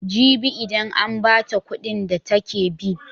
Jibi idan an ba ta kuɗin da take bi.